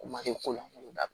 Make ko la